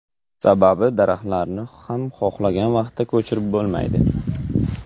Sababi daraxtlarni ham xohlagan vaqtda ko‘chirib bo‘lmaydi.